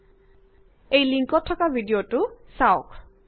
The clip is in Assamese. তলত দিয়া লিঙ্কত উপলব্ধ ভিডিঅটো চাওক